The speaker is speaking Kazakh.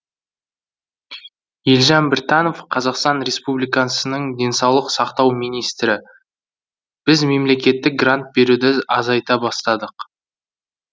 елжан біртанов қазақстан республикасының денсаулық сақтау министрі біз мемлекеттік грант беруді азайта бастадық